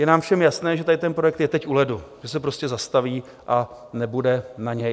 Je nám všem jasné, že tady ten projekt je teď u ledu, že se prostě zastaví a nebude na něj.